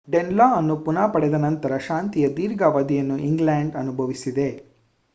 ಡೆನ್‌ಲಾ ಅನ್ನು ಪುನಃ ಪಡೆದ ನಂತರ ಶಾಂತಿಯ ದೀರ್ಘ ಅವಧಿಯನ್ನು ಇಂಗ್ಲೆಂಡ್‌ ಅನುಭವಿಸಿದೆ